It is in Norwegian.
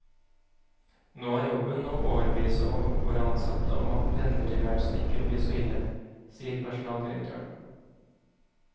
Nå er jobben å overbevise våre ansatte om at pendlertilværelsen ikke vil bli så ille, sier personaldirektøren.